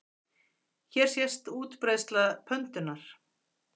Hér sést útbreiðsla pöndunnar.